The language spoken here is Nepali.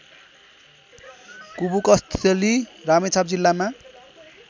कुबुकस्थली रामेछाप जिल्लामा